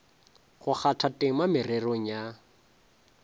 go kgatha tema mererong ya